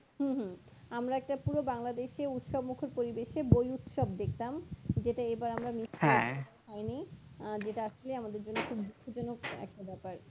হুম হুম আমরা একটা পুরো বাংলাদেশে উৎসবমুখর পরিবেশে বই উৎসব দেখতাম যেটা এবার আমরা মৃত্যুর হইনি যেটা আসলে আমাদের জন্য খুব দুঃখজনক একটা ব্যাপার